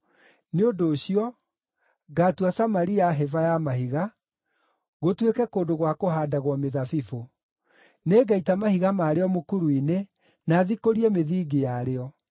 “Nĩ ũndũ ũcio, ngaatua Samaria hĩba ya mahiga, gũtuĩke kũndũ gwa kũhaandagwo mĩthabibũ. Nĩngaita mahiga marĩo mũkuru-inĩ na thikũrie mĩthingi yarĩo.